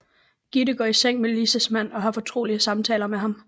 Gitte går i seng med Lises mand og har fortrolige samtaler med ham